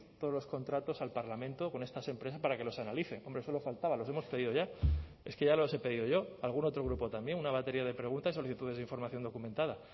todos los contratos al parlamento con estas empresas para que los analice hombre solo faltaba los hemos pedido ya es que ya los he pedido yo algún otro grupo también una batería de preguntas solicitudes de información documentada